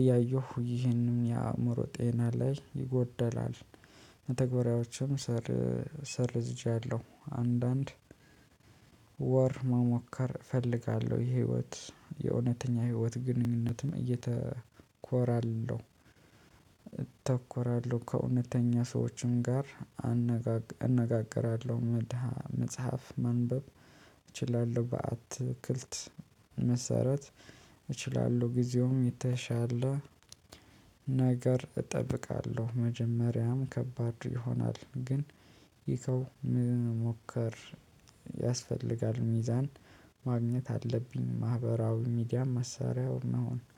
እያየሁ ይህንን የአእምሮ ጤና ላይ ይጎደላል። ተግበራዎችን ሰር ሰርዝጃለሁ። አንዳንድ ወር መሞከር እፈልጋለሁ የህይወት የእውነተኛ ህይወት ግንኙነትም እየተኮራለሁ። እተኮራለሁ ከእውነተኛ ሰዎችም ጋር አነጋገራለሁ። መድሃ መጽሐፍ ማንበብ እችላለሁ። በአትክልት መሰረት እችላለሁ። ጊዜውም የተሻለ ነገር እጠብቃለሁ መጀመሪያም ከባድ ይሆናል። ግን ይከው ምን ሞከር ያስፈልጋል። ሚዛን ማግኘት አለብኝ። ማህበራዊ ሚዲያ መሳሪያውን መሆን